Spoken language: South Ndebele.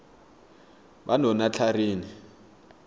banonatlharini